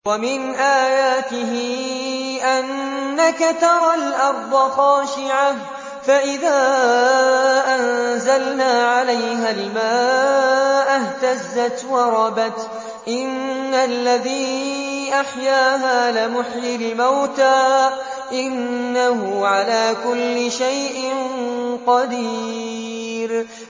وَمِنْ آيَاتِهِ أَنَّكَ تَرَى الْأَرْضَ خَاشِعَةً فَإِذَا أَنزَلْنَا عَلَيْهَا الْمَاءَ اهْتَزَّتْ وَرَبَتْ ۚ إِنَّ الَّذِي أَحْيَاهَا لَمُحْيِي الْمَوْتَىٰ ۚ إِنَّهُ عَلَىٰ كُلِّ شَيْءٍ قَدِيرٌ